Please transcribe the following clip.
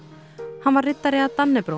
hann var riddari af